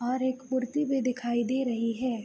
और एक मूर्ति भी दिखाई दे रही है।